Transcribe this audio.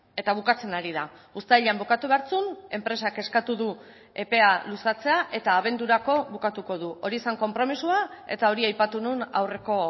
eta bukatzen ari da uztailean bukatu behar zuen enpresak eskatu du epea luzatzea eta abendurako bukatuko du hori zen konpromisoa eta hori aipatu nuen aurreko